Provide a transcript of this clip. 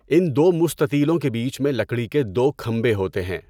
ان دو مستطیلوں کے بیچ میں لکڑی کے دو کھمبے ہوتے ہیں۔